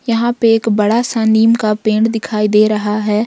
यहां पे एक बड़ा सा नीम का पेड़ दिखाई दे रहा है।